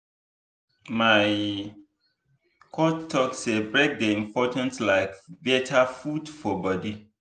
my coach talk say break dey important like better food for body.